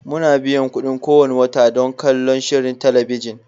Muna biyan kuɗin biyan kuɗi kowane wata don kallon shirin talabijin